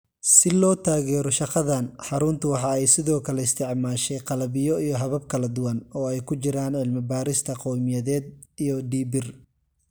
Si loo taageero shaqadan, xaruntu waxa ay sidoo kale isticmaashay qalabyo iyo habab kala duwan, oo ay ku jiraan cilmi-baadhista qowmiyadeed iyo DBIR.